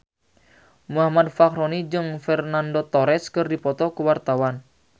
Muhammad Fachroni jeung Fernando Torres keur dipoto ku wartawan